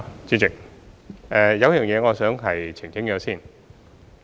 主席，有一點我想先作澄清。